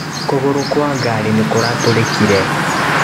Kũgorũ kwa gari nĩ kũratũrĩkire.